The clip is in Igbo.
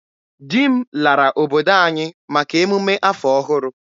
Di m lara obodo anyị maka emume afọ ọhụrụ.